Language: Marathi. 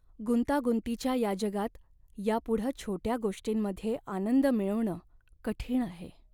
गुंतागुंतीच्या या जगात यापुढं छोट्या गोष्टींमध्ये आनंद मिळवणं कठीण आहे.